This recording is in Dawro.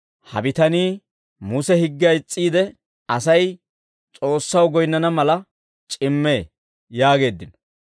«Ha bitanii Muse higgiyaa is's'iide, Asay S'oossaw goyinnana mala c'immee» yaageeddino.